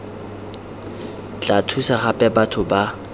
tla thusa gape batho ba